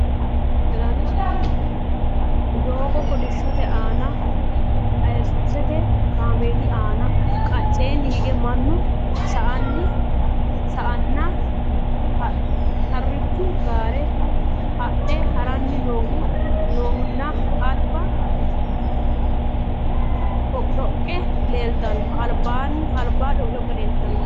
Doogo kolishshotte aanna asusette kaameelli nna qaceenni hige mannu saa nna harichchu gaare adhe haraanni noohu nna alibba dhoqidhoqe leelittanno